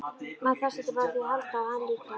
Maður þarf stundum á því að halda og hann líka.